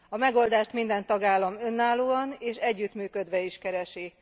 A megoldást minden tagállam önállóan és együttműködve is keresi.